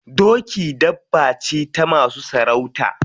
Doki dabba ce ta masu sarauta.